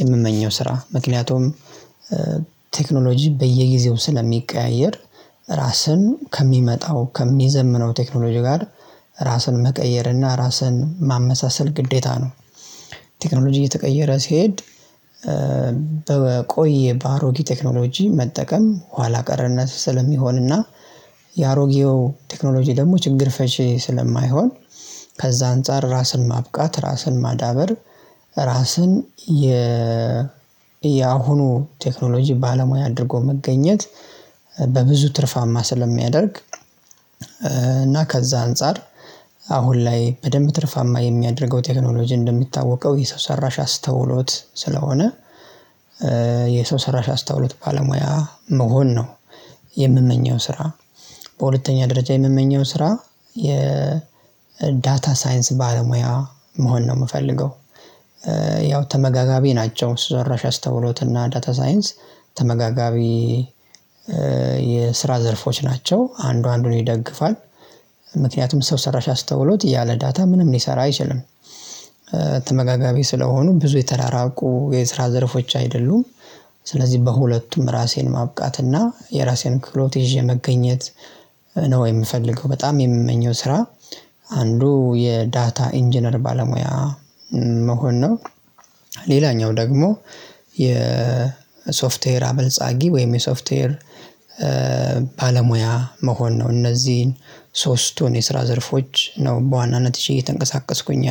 የምመኘው ስራ ምክንያቱም ቴክኖሎጂ በየጊዜው ስለሚቀያየር ራስን ከሚመጣው ከሚዘምነው ቴክኖሎጂ ጋር ራስን መቀየር እና ራስን ማመሳሰል ግዴታ ነው። ቴክኖሎጂ እየተቀየረ ሲሄድ በቆየ በአሮጌ ቴክኖሎጂ መጠቀም ኋላ ቀርነት ስለሚሆንና የአሮጌው ቴክኖሎጂ ደሞ ችግር ፈቺ ስለማይሆን። ከዛ አንፃር ራስን ማብቃት ራስን ማዳበር ራስን የ የአሁኑ ቴክኖሎጂ ባለሙያ አድርጎ መገኘት በብዙ ትርፋማ ስለሚያደርግ። እና ከዛ አንፃር አሁን ላይ በደንብ ትርፋማ የሚያደርገው ቴክኖሎጂ እንደሚታወቀው የሰው ሰራሽ አስተውሎት ስለሆነ ሰራሽ አስታውሎት ባለሙያ መሆን ነው። የምመኘውን ስራ በሁለተኛ ደረጃ የምመኘው ስራ የዳታ ሳይንስ ባለሙያ መሆን ነው ምፈልገው። ተመጋጋቢ ናቸው ሰራሽ አስተውሎት እና ዳታ ሳይንስ ተመጋጋቢ የስራ ዘርፎች ናቸው አንዱ አንዱን ይደግፋል። ምክንያቱም ሰው ሰራሽ አስተውሎት ያለ ዳታ ምንም ሊሰራ አይችልም። ተመጋጋቢ ስለሆኑ ብዙ የተራራቁ የስራ ዘርፎች አይደሉም። ስለዚህ በሁለቱም ራሴን ማብቃት እና የራሴን ክህሎት ይዤ መገኘት ነው የምፈልገው። በጣም የምመኘው ስራ አንዱ የዳታ ኢንጂነር ባለሙያ መሆን ነው። ሌላኛው ደግሞ የሶፍትዌር አበልጻጊ ወይም የሶፍትዌር ባለሙያ መሆን ነው። እነዚህን ሶስቱን የስራ ዘርፎች ነው በዋናነት እቺ እየተንቀሳቀስኩኝ